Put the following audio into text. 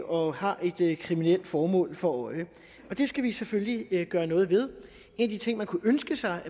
og har et kriminelt formål for øje det skal vi selvfølgelig gøre noget ved en af de ting man kunne ønske sig